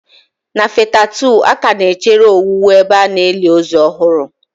Na fetha2 a ka na-echere owuwu ebe a na-eli ozu ọhụrụ.